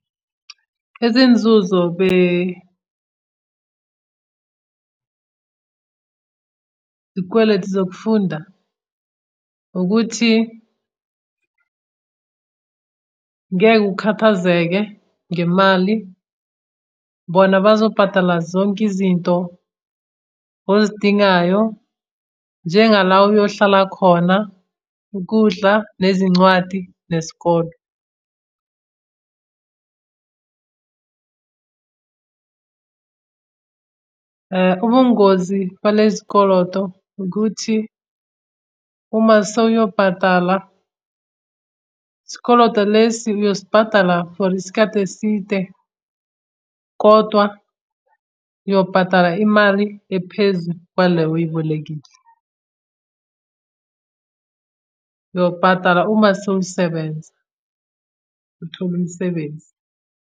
Izinzuzo iy'kweletu zokufunda ukuthi ngeke ukhathazeke ngemali. Bona bazobhadala zonke izinto ozidingayo njenga la oyohlala khona, ukudla, nezincwadi, nesikolo. Ubungozi balezi koloto ukuthi uma sewuyobhadala, isikoloto lesi uyosibhadala isikhathi eside kodwa uyobhadala imali ephezu kwale oyibolekile. Uyobhadala uma sewusebenza, uthole umsebenzi.